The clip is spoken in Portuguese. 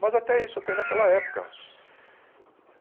Mas até isso eu tenho daquela época.